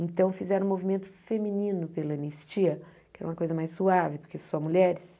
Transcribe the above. Então, fizeram um movimento feminino pela anistia, que era uma coisa mais suave, porque só mulheres.